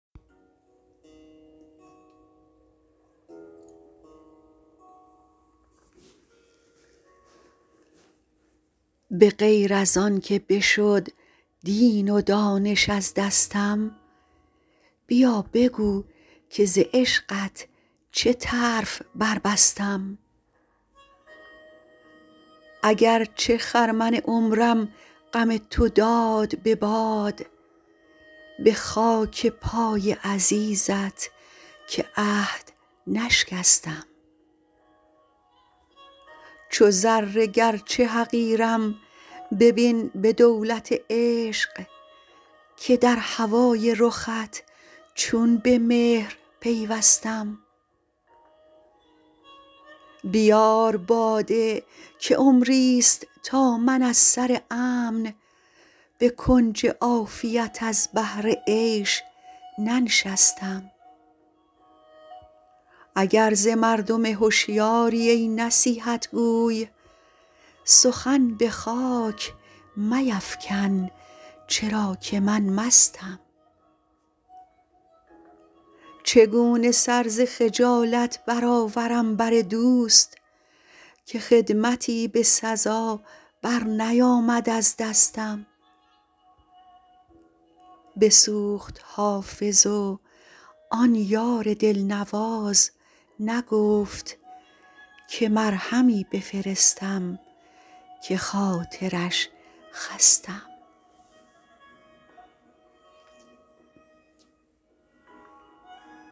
به غیر از آن که بشد دین و دانش از دستم بیا بگو که ز عشقت چه طرف بربستم اگر چه خرمن عمرم غم تو داد به باد به خاک پای عزیزت که عهد نشکستم چو ذره گرچه حقیرم ببین به دولت عشق که در هوای رخت چون به مهر پیوستم بیار باده که عمریست تا من از سر امن به کنج عافیت از بهر عیش ننشستم اگر ز مردم هشیاری ای نصیحت گو سخن به خاک میفکن چرا که من مستم چگونه سر ز خجالت برآورم بر دوست که خدمتی به سزا برنیامد از دستم بسوخت حافظ و آن یار دلنواز نگفت که مرهمی بفرستم که خاطرش خستم